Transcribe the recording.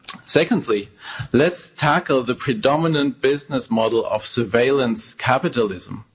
Secondly, let's tackle the predominant business model of surveillance capitalism.